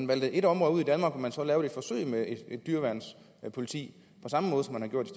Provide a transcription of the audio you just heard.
vælge et område ud i danmark hvor man så lavede et forsøg med et dyreværnspoliti